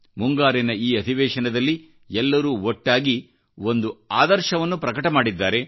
ಮುಂಗಾರಿನ ಈ ಅಧಿವೇಶನದಲ್ಲಿ ಎಲ್ಲರೂ ಒಟ್ಟಾಗಿ ಒಂದು ಆದರ್ಶವನ್ನು ಪ್ರಕಟಮಾಡಿದ್ದಾರೆ